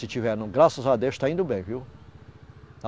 Se tiver não, graças a Deus, está indo bem, viu?